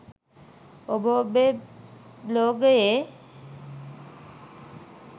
ඔබ ඔබේ බ්ලොගයේ